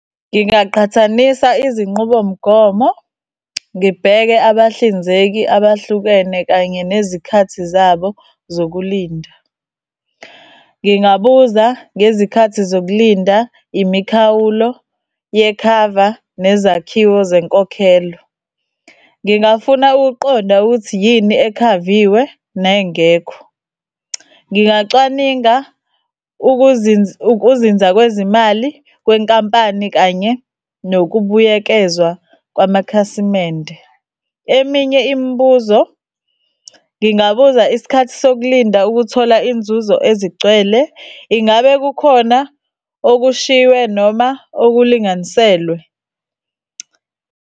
Ngingaqhathanisa izinqubomgomo ngibheke abahlinzeki abahlukene kanye nezikhathi zabo zokulinda. Ngingabuza ngezikhathi zokulinda, imikhawulo yekhava, nezakhiwo zenkokhelo. Ngingafuna ukuqonda ukuthi yini ekhaviwe nengekho. Ngingacwaninga ukuzinza kwezimali kwenkampani kanye nokubuyekezwa kwamakhasimende. Eminye imibuzo, ngingabuza isikhathi sokulinda ukuthola inzuzo ezigcwele. Ingabe kukhona okushiywe noma okulinganiselwe?